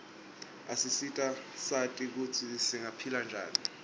asisita sati kutsi singaphila njani